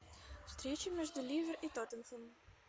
встреча между ливер и тоттенхэм